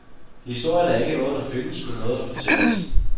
Historien er ikke noget, der findes, men noget der fortælles.